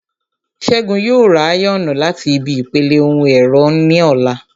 Ṣẹ́gun yóò ra áyọ̀nù láti ibi ìpele ohun ẹ̀rọ ní ọ̀la